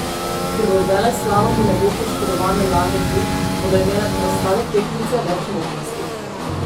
Ker v veleslalomu ne bo poškodovane Lare Gut, bodo imele preostale tekmice več možnosti.